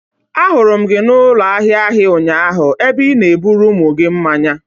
Ahụrụ m gị n'ụlọ ahịa ahịa ụnyaahụ, ebe ị na-eburu ụmụ gị mmanya.